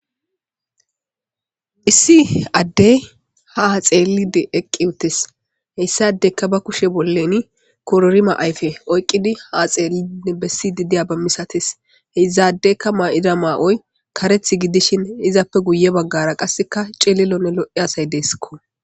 Issi addey haa xeellidi eqqi uttisi. Issi addeykka ba kushe bolla kororumma ayfe oyqqidi ha xeellidinne bessidi diyaba misatees. Izaddeykka ma'ida ma'oy kareththi gidishin izappe giye baggara qassi colilonne lo'iya asay deesko.